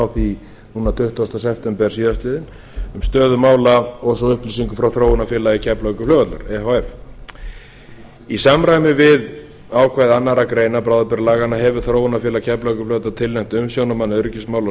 því tuttugasta september síðastliðinn um stöðu mála og svo upplýsinga frá þróunar keflavíkurflugvallar e h f í samræmi við ákvæði annarrar greinar bráðabirgðalaganna hefur þróunarfélag keflavíkurflugvallar tilnefnt umsjónarmann öryggismála á